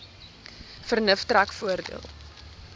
vernuf trek voordeel